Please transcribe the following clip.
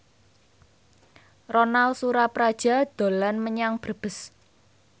Ronal Surapradja dolan menyang Brebes